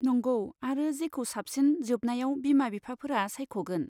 नंगौ, आरो जेखौ साबसिन, जोबनायाव बिमा बिफाफोरा सायख'गोन।